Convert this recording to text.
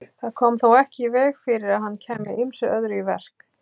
Það kom þó ekki í veg fyrir að hann kæmi ýmsu öðru í verk.